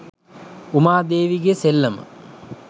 උමා දේවියගේ සෙල්ලම